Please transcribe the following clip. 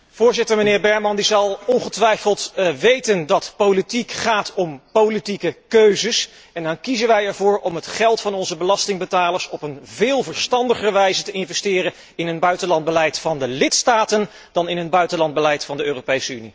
Mijnheer Berman zal ongetwijfeld weten dat politiek gaat om politieke keuzes, en dan kiezen wij ervoor om het geld van onze belastingbetalers op een veel verstandiger wijze te investeren in een buitenlands beleid van de lidstaten, dan in een buitenlands beleid van de Europese Unie.